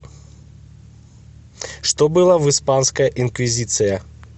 что было в испанская инквизиция